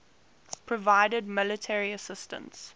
provided military assistance